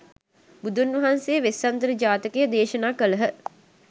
බුදුන්වහන්සේ වෙස්සන්තර ජාතකය දේශනා කළහ.